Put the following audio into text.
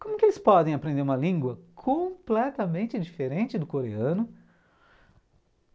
Como que eles podem aprender uma língua completamente diferente do coreano?